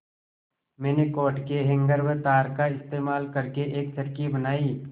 मैंने कोट के हैंगर व तार का इस्तेमाल करके एक चरखी बनाई